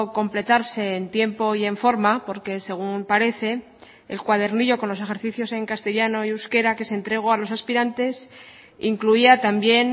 completarse en tiempo y en forma porque según parece el cuadernillo con los ejercicios en castellano y euskera que se entregó a los aspirantes incluía también